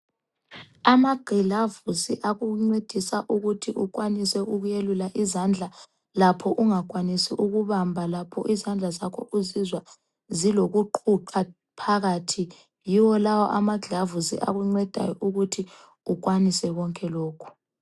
Amagilavusi akuncedisa ukuthi ukwanise ukuyelula izandla lapho ungakwanisi ukubamba lapho izandla zakho uzizwa zilokuqhuqha phakathi, yiwo lawo amagilavusi akuncedayo ukuthi ukwanise konke lokhu.